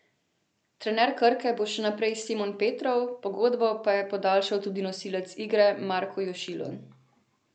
Trener Krke bo še naprej Simon Petrov, pogodbo pa je podaljšal tudi nosilec igre Marko Jošilo.